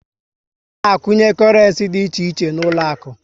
A na a kwunye korenci dị iche iche n'uloaku